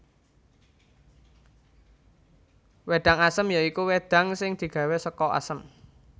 Wédang Asem ya iku wedang sing digawé saka Asem